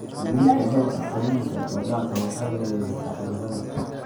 Xakamaynta heerka qoyaanka ee daaqa waxay yaraysaa cudurrada.